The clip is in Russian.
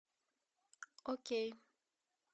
окей